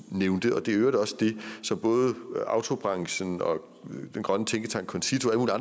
nævnte det er i øvrigt også det som både autobranchen og den grønne tænketank concito